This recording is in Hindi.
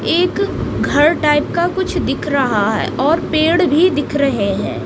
एक घर टाइप का कुछ दिख रहा है और पेड़ भी दिख रहे हैं।